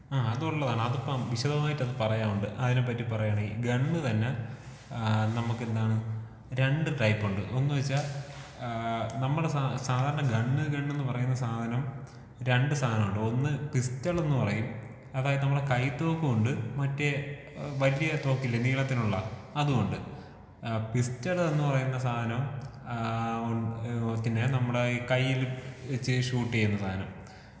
ആഹ് അതുള്ളതാണ് അതിപ്പം വിശദമായിട്ട് അത് പറയാനുണ്ട് അതിനെ പറ്റി പറയാണെങ്കി ഗണ്ണ് തന്നെ ഏഹ് നമുക്കെന്താണ് രണ്ട് ടൈപ്പുണ്ട്. ഒന്ന് വെച്ചാ ഏഹ് നമ്മുടെ സാധാരണ ഗണ്ണ് ഗണ്ണ് എന്ന് പറയുന്ന സാധനം രണ്ട് സാധനമുണ്ട്. ഒന്ന് പിസ്റ്റളെന്നു പറയും അതായത് നമ്മുടെ കൈ തോക്കുമുണ്ട്, മറ്റേ വലിയ തോക്കില്ലേ നീളത്തിലുള്ള അതുമുണ്ട്. ഏഹ് പിസ്റ്റള് എന്ന് പറയുന്ന സാധനം ഏഹ് പിന്നേ നമ്മുടെ ഈ കയ്യിൽ വെച്ച് ഷൂട്ട് ചെയ്യുന്ന സാനം.